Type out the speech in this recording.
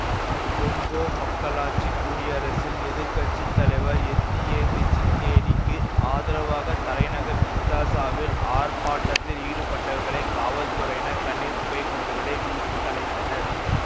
Congo மக்களாட்சி குடியரசில் எதிர் கட்சி தலைவர் எத்தியேன் த்சிசெக்கேடிக்கு ஆதரவாக தலைநகர் கின்சாசாவில் ஆர்ப்பாட்டத்தில் ஈடுபட்டவர்களை காவல்துறையினர் கண்ணீர் புகைக்குண்டுகளை வீசி கலைத்தனர்